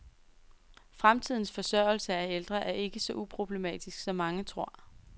Fremtidens forsørgelse af ældre er ikke så uproblematisk, som mange tror.